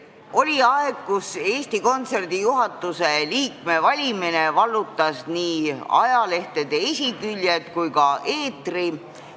Oli aeg, kui Eesti Kontserdi juhatuse liikme valimine vallutas nii ajalehtede esiküljed kui ka eetri.